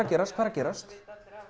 gerast hvað er að gerast